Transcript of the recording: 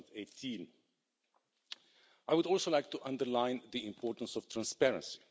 2018. I would also like to underline the importance of transparency.